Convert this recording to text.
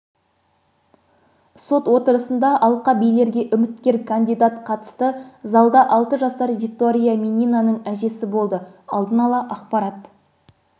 сот отырысында алқабилерге үміткер кандидат қатысты залда алты жасар виктория мининаның әжесі болды алдын ала ақпарат